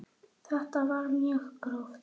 Þetta var mjög gróft.